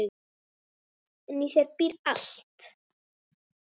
En í þér býr allt.